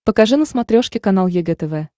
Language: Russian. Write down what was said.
покажи на смотрешке канал егэ тв